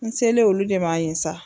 N selen olu de ma yen sa.